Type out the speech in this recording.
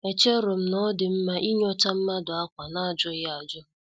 Echerom na-odi mma inyota mmadụ ákwá n'ajughi ajụ.